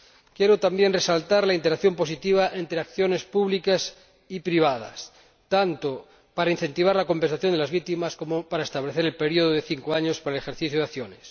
Quiero también resaltar la interacción positiva entre acciones públicas y privadas, tanto para incentivar la compensación de las víctimas como para establecer el período de cinco años para el ejercicio de acciones.